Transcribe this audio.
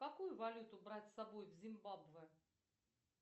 какую валюту брать с собой в зимбабве